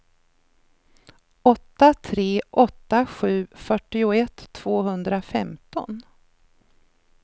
åtta tre åtta sju fyrtioett tvåhundrafemton